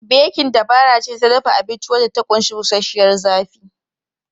Bekin dabara ce ta dafa abinci wadda ta ƙunshi bushashiyar zafi.